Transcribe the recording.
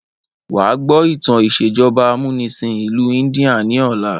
Wa gbọ́ ìtàn ìsèjọba amúnisìn ìlú India ni ọ̀la!